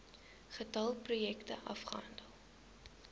getal projekte afgehandel